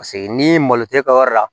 Paseke n'i malo tɛ kɛ yɔrɔ wɛrɛ la